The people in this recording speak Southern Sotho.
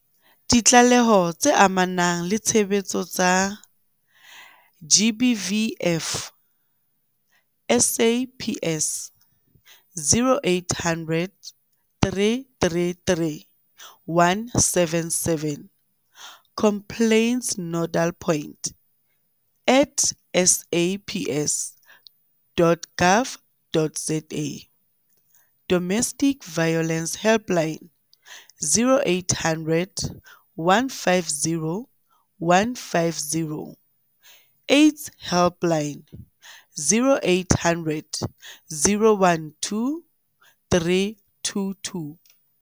Ditlaleho tse amanang le tshebetso tsa GBVF, SAPS, 0800 333 177 stroke complaintsnodalpoint at saps.gov.za Domestic Violence Helpline- 0800 150 150. AIDS Helpline- 0800 012 322.